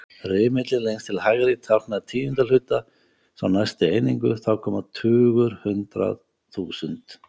Rimillinn lengst til hægri táknar tíundu hluta, sá næsti einingu, þá koma tugur, hundrað, þúsund.